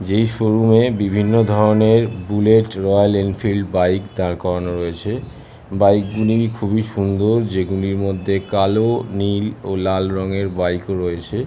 যেই শোরুম এ বিভিন্ন ধরণের বুলেট রয়েল ইনফেইলেড বাইক দাঁড় করানো হয়েছে বাইক -গুলি খুবই সুন্দর যেগুলির মধ্যে কালো নীল ও লাল রঙের বাইক রয়েছে--